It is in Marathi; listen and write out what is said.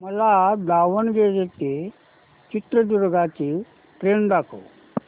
मला दावणगेरे ते चित्रदुर्ग ची ट्रेन दाखव